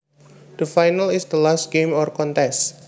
The final is the last game or contest